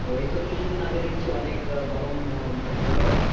ঐতো কিছু দিন আগে দেখছি অনেক গরম মানে পড়লো।